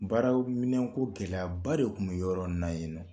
Baaraw minɛn ko gɛlɛyaba de tun bɛ yɔrɔ nin na yennɔ.